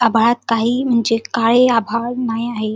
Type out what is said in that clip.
आभाळात काही म्हणजे काळे आभाळ नाही आहे.